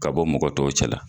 Ka bɔ mɔgɔ tɔw cɛla.